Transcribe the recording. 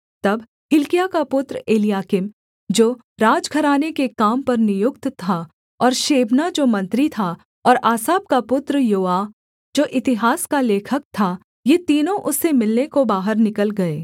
तब हिल्किय्याह का पुत्र एलयाकीम जो राजघराने के काम पर नियुक्त था और शेबना जो मंत्री था और आसाप का पुत्र योआह जो इतिहास का लेखक था ये तीनों उससे मिलने को बाहर निकल गए